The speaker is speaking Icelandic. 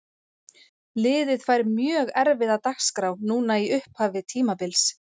Liðið fær mjög erfiða dagskrá núna í upphafi tímabils.